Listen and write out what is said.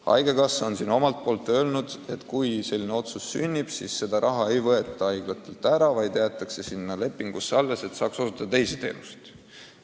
Haigekassa on omalt poolt öelnud, et kui selline otsus sünnib, siis lepingus ette nähtud raha ei võeta haiglatelt ära, vaid jäetakse neile alles, et saaks osutada teisi teenuseid.